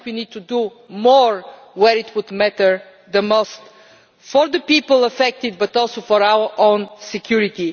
I think we need to do more where it matters the most for the people affected, but also for our own security.